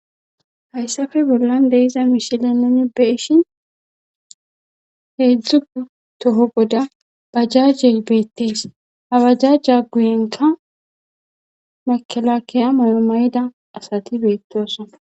hayssafe bollan deiza mishile nene be ishin heedzdzuu toho goda bajajjey beettees ha bajajja guyenka makelakkeya mayomayida asati beettoosa